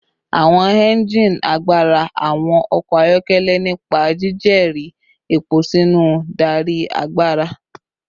Awọn engine agbara awọn ọkọ ayọkẹlẹ nipa jijere epo sinu darí agbara